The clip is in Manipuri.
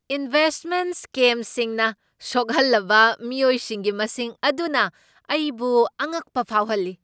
ꯏꯟꯚꯦꯁꯠꯃꯦꯟꯠ ꯁ꯭ꯀꯦꯝꯁꯤꯡꯅ ꯁꯣꯛꯍꯜꯂꯕ ꯃꯤꯑꯣꯏꯁꯤꯡꯒꯤ ꯃꯁꯤꯡ ꯑꯗꯨꯅ ꯑꯩꯕꯨ ꯑꯉꯛꯄ ꯐꯥꯎꯍꯜꯂꯤ꯫